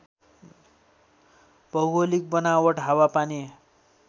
भौगोलिक वनावट हावापानी